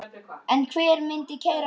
En hver myndi keyra bílinn?